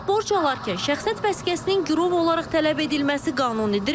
Bəs borc alarkən şəxsiyyət vəsiqəsinin girov olaraq tələb edilməsi qanunidirmi?